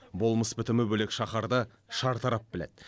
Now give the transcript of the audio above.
болмыс бітімі бөлек шаһарды шартарап біледі